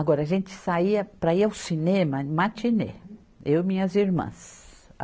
Agora, a gente saía para ir ao cinema, matinê, eu e minhas irmãs.